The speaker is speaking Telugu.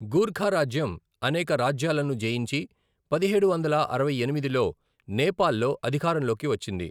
గూర్ఖా రాజ్యం అనేక రాజ్యాలను జయించి పదిహేడు వందల అరవై ఎనిమిదిలో నేపాల్లో అధికారంలోకి వచ్చింది.